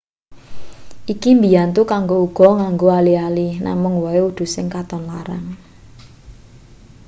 iki mbiyantu kanggo uga nganggo ali-ali namung wae udu sing katon larang